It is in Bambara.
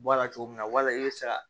Bɔ a la cogo min na wala i bɛ se ka